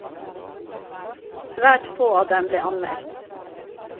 Svært få av dem ble anmeldt.